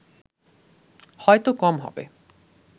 হয়তো কম হবে